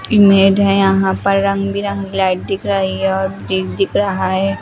Image हैं यहां पर रंग बिरंग लाइट दिख रहा है यह रहा है।